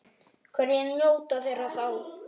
Hverjir njóta þeirra þá?